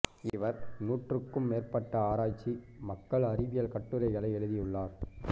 இவர் நூற்றுக்கும் மேற்பட்ட ஆராய்ச்சி மக்கள் அறிவியல் கட்டுரைகளை எழுதியுள்ளார்